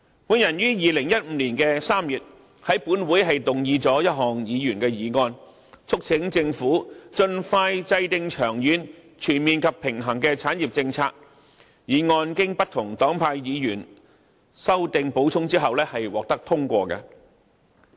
我於2015年3月在本會動議一項議員議案，促請政府盡快制訂長遠、全面及平衡的產業政策，並經不同黨派議員修訂和補充後獲得通過。